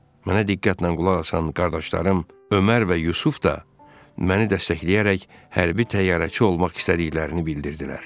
Mənə diqqətlə qulaq asan qardaşlarım Ömər və Yusif də məni dəstəkləyərək hərbi təyyarəçi olmaq istədiklərini bildirdilər.